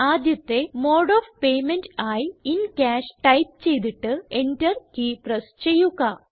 ആദ്യത്തെ mode of payment ആയി in cash type ചെയ്തിട്ട് Enter കീ പ്രസ് ചെയ്യുക